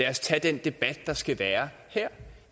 at tage den debat der skal være her